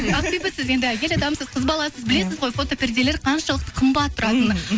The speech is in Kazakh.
ақбибі сіз енді әйел адамсыз қыз баласыз білесіз ғой фотоперделер қаншалықты қымбат тұратынын